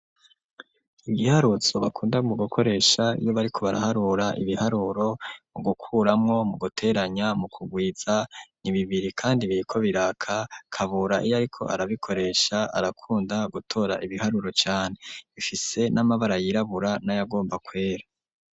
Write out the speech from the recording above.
Igiharuzo bakunda mu gukoresha iyo bariko baraharura ibiharuro, mu gukuramwo, mu guteranya, mu kugwiza; ni bibiri kandi biriko biraka, Kabura iyo ariko arabikoresha arakunda gutora ibiharuro cane, bifise n'amabara yirabura, n'ayagomba kwera.